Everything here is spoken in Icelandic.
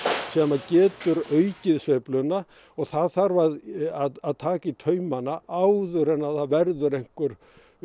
sem að getur aukið sveifluna og það þarf að að taka í taumana áður en það verða einhver